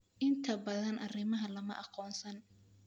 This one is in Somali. Inta badan arrimahan lama aqoonsan.